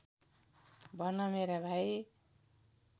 भन मेरा भाइ